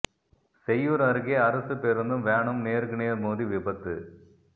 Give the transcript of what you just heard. செய்யூர் அருகே அரசு பேருந்தும் வேனும் நேருக்கு நேர் மோதி விபத்து